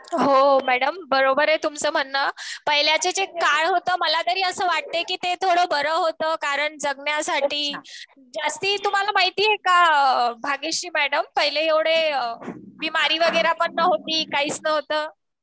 हो मॅडम बरोबर आहे तुमचं म्हणणं पाहिल्याचे जे काळ होत ते मला तरी असं वाटतंय ते थोड़ बरं होतं. कारण जगण्यासाठी जस्ती मुंहला माहिती आहे का? भाग्यश्री मॅडम पहिले एव्हढे बिमारी वगैरे पण नव्हती कायच नव्हतं.